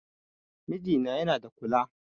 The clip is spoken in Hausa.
Mijina yana da kula